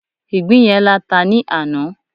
ìgbín yen lata ni ana